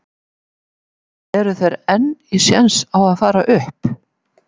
En eru þeir enn í séns á að fara upp?